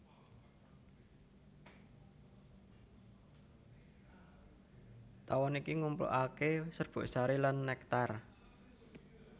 Tawon iki nglumpukaké serbuk sari lan nektar